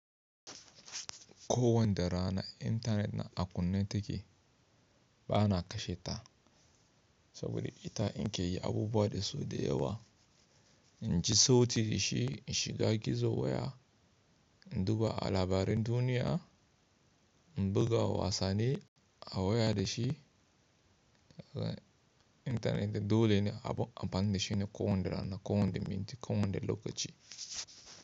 Ko wanda rana intanet na a kunne take, b'na kashe ta, saboda ita in ke yi abubuwa da su da yawa. In ji sauti da shi, in shiga gizo waya, in duba a labaran duniya, in buga wasanni a waya da shi. Intanet dole ne a amfani da shi ne ko wanda rana, ko wanda minti, ko wanda lokaci.